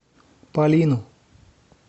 полину